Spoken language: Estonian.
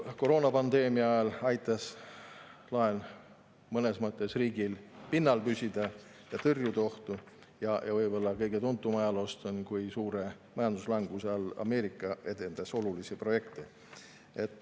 Koroonapandeemia ajal aitas laen mõnes mõttes riigil pinnal püsida ja tõrjuda ohtu, ja võib-olla kõige tuntum ajaloost on, kui suure majanduslanguse ajal Ameerika edendas olulisi projekte.